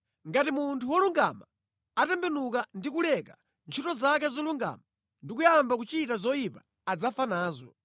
Ngati munthu wolungama atembenuka ndi kuleka ntchito zake zolungama ndi kuyamba kuchita zoyipa, adzafa nazo.